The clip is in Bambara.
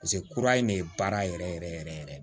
kura in ne ye baara yɛrɛ yɛrɛ yɛrɛ yɛrɛ